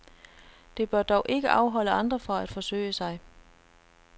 Det bør dog ikke afholde andre fra at forsøge sig.